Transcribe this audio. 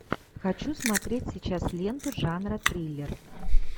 хочу смотреть сейчас ленту жанра триллер